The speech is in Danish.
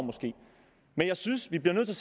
men jeg synes at vi bliver nødt til